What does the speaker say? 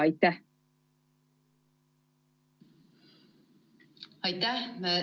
Aitäh!